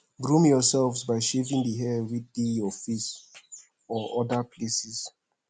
groom yourself by shaving di hair wey dey for face or oda places